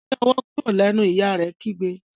gbé owó kúrò lẹ nu! ìyá rẹ kígbe.